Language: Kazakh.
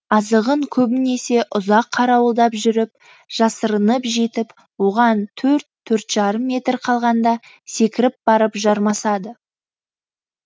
азығын көбінесе ұзақ қарауылдап жүріп жасырынып жетіп оған төрт төрт жарым метр қалғанда секіріп барып жармасады